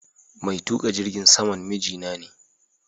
Mai tuƙa jirgin saman miji na ne.